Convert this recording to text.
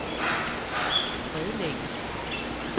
Bredlænge